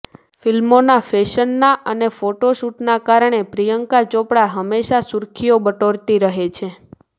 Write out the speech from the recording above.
ફિલ્મોના ફેશનના અને ફોટોશૂટના કારણે પ્રિયંકા ચોપડા હમેશા સુર્ખિઓ બટોરતી રહે છે